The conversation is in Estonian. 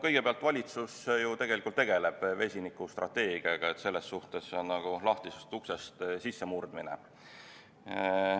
Kõigepealt, valitsus ju tegeleb vesinikustrateegiaga, nii et selles suhtes on see nagu lahtisest uksest sissemurdmine.